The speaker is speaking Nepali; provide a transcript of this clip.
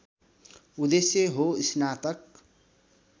उद्देश्य हो स्नातक